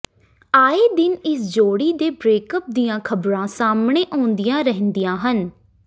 ਆਏ ਦਿਨ ਇਸ ਜੋੜੀ ਦੇ ਬਰੇਕਅਪ ਦੀਆਂ ਖ਼ਬਰਾਂ ਸਾਹਮਣੇ ਆਉਂਦੀਆਂ ਰਹਿੰਦੀਆਂ ਹਨ